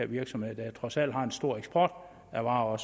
virksomheder der trods alt også har en stor eksport af varer